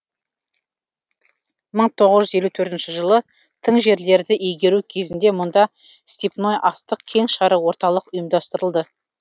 мың тоғыз жүз елу төртінші жылы тың жерлерді игеру кезінде мұнда степной астық кеңшары орталық ұйымдастырылды